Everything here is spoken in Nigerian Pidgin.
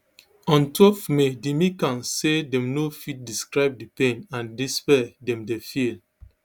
ontwelve may di mccanns say dem no fit describe di pain and despair dem dey feel